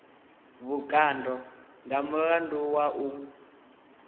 vhukando nga mulandu wa u